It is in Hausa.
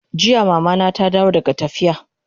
Jiya Mama na ta dawo daga tafiya